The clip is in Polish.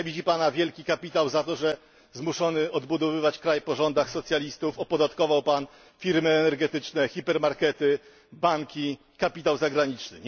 Nienawidzi Pana wielki kapitał za to, że zmuszony odbudowywać kraj po rządach socjalistów opodatkował Pan firmy energetyczne, hipermarkety, banki, kapitał zagraniczny.